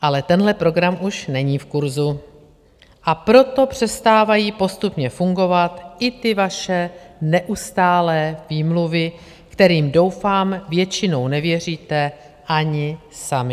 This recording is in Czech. Ale tenhle program už není v kurzu, a proto přestávají postupně fungovat i ty vaše neustálé výmluvy, kterým doufám většinou nevěříte ani sami.